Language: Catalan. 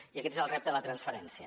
i aquest és el repte de la transferència